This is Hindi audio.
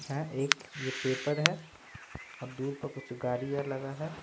है एक ये पेपर है और दूर पर कुछ गाड़िया लगा है।